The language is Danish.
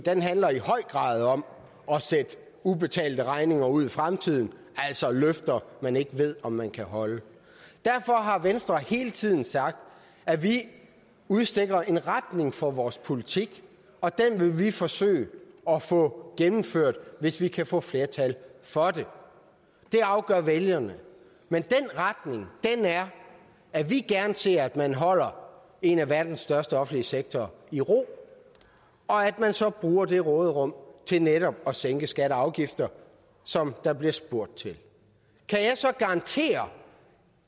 handler i høj grad om at sende ubetalte regninger ud i fremtiden altså løfter man ikke ved om man kan holde derfor har venstre hele tiden sagt at vi udstikker en retning for vores politik og den vil vi forsøge at få gennemført hvis vi kan få flertal for det det afgør vælgerne men den retning er at vi gerne ser at man holder en af verdens største offentlige sektorer i ro og at man så bruger det råderum til netop at sænke skatter og afgifter som der bliver spurgt til kan jeg så garantere